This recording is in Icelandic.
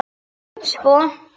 Svo?